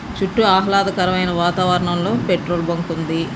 చుట్టూ ఆహ్లాదకరమైన వాతావరణంలో పెట్రోల్ బంక్ ఉంది.